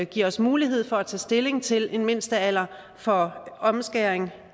giver os mulighed for at tage stilling til en mindstealder for omskæring